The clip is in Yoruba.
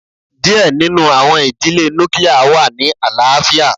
díẹ̀ nínú àwọn ìdílé nuclia wà ní àlàáfíà.